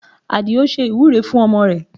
Adio ṣe ìwúre fún ọmọ rẹ̀